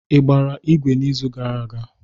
Ị gbara igwe n'izu gara aga?